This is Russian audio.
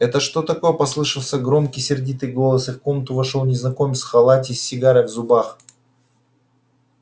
это что такое послышался громкий сердитый голос и в комнату вошёл незнакомец в халате и с сигарой в зубах